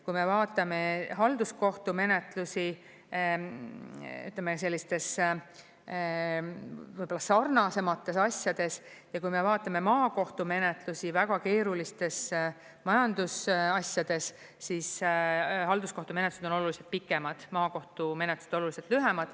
Kui me vaatame halduskohtu menetlusi, ütleme, sellistes sarnasemates asjades ja kui me vaatame maakohtu menetlusi väga keerulistes majandusasjades, siis halduskohtu menetlused on oluliselt pikemad, maakohtu menetlused oluliselt lühemad.